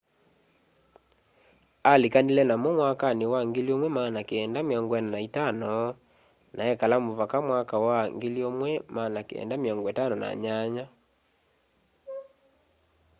alĩkanĩle namo mwakanĩ wa 1945 na ekala mũvaka mwaka wa 1958